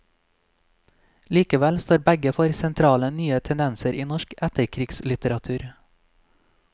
Likevel står begge for sentrale nye tendenser i norsk etterkrigslitteratur.